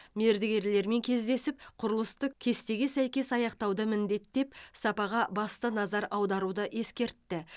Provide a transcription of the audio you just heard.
мердігерлермен кездесіп құрылысты кестеге сәйкес аяқтауды міндеттеп сапаға басты назар аударуды ескертті